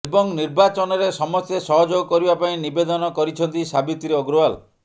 ଏବଂ ନିର୍ବାଚନରେ ସମସ୍ତେ ସହଯୋଗ କରିବା ପାଇଁ ନିବେଦନ କରିଛନ୍ତି ସାବିତ୍ରୀ ଅଗ୍ରୱାଲ